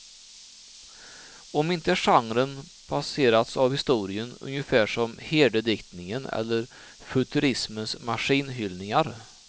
Om inte genren passerats av historien, ungefär som herdediktningen eller futurismens maskinhyllningar.